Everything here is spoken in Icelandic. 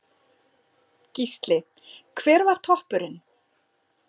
Gísli: Hver var toppurinn?